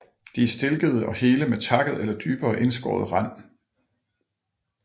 De er stilkede og hele med takket eller dybere indskåret rand